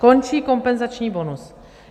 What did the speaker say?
Končí kompenzační bonus.